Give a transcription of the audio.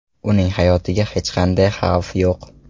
Uning hayotiga hech qanday xavf yo‘q.